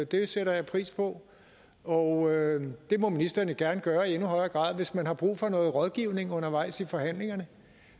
det sætter jeg pris på og det må ministeren jo gerne gøre i endnu højere grad hvis man har brug for noget rådgivning undervejs i forhandlingerne